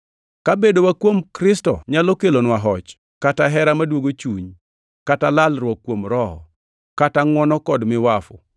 Ka bedowa kuom Kristo nyalo kelonwa hoch, kata hera maduogo chuny, kata lalruok kuom Roho, kata ngʼwono kod miwafu,